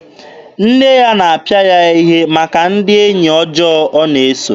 Nne ya na-apịa ya ihe maka ndị enyi ọjọọ ọ na-eso.